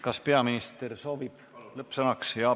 Kas peaminister soovib lõppsõna öelda?